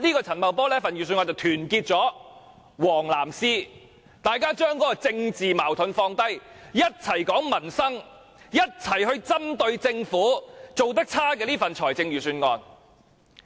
陳茂波這份預算案團結了"黃、藍絲"，大家把政治矛盾放下，一起談民生，一起針對政府做得差的這份預算案。